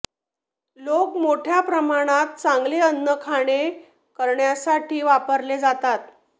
लोक मोठ्या प्रमाणात चांगले अन्न खाणे करण्यासाठी वापरले जातात